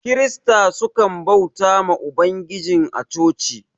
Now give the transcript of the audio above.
kirista sukan bautawa ma ubangijin a chochi